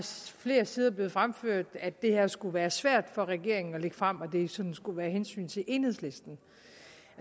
flere sider blevet fremført at det her skulle være svært for regeringen at lægge frem og at det sådan skulle være af hensyn til enhedslisten